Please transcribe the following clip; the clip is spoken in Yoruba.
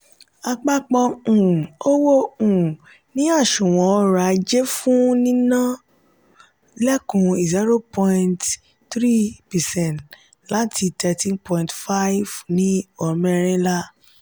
àpapọ um owó um ní àsùnwòn orò-ajé fún nínà lẹkun zero point three percent láti thirteen point five percent ní ọmẹrinla.